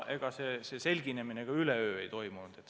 Ega see selginemine üleöö ei toimunud.